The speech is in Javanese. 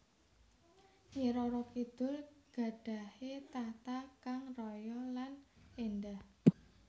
Nyi Roro Kidul gadhahi tahta kang raya lan endah